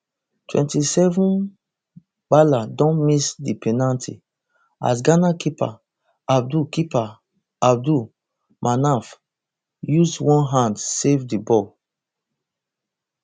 twenty-sevenmbala don miss di penalty as ghana keeper abdul keeper abdul manaf use one hand save di ball